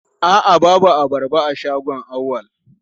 A'a babu abarba a shagon Auwal.